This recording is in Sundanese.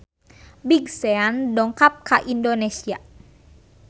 Big Sean dongkap ka Indonesia